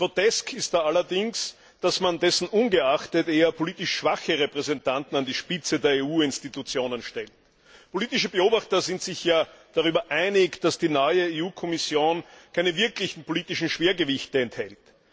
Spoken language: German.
Grotesk ist es da allerdings, dass man dessen ungeachtet eher politisch schwache Repräsentanten an die Spitze der EU Institutionen stellt. Politische Beobachter sind sich darüber einig, dass die neue Kommission keine wirklichen politischen Schwergewichte enthält.